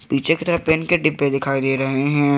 पीछे की तरफ़ पेन के डिब्बे दिखाई दे रहे हैं।